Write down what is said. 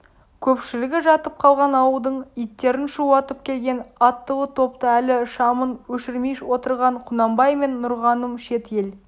көпшілігі жатып қалған ауылдың иттерін шулатып келген аттылы топты әлі шамын өшірмей отырған құнанбай мен нұрғаным шет ел